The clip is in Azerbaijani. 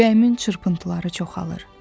Ürəyimin çırpıntıları çoxalır.